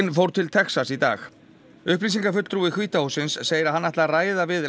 fór til Texas í dag upplýsingafulltrúi hvíta hússins segir að hann ætli að ræða við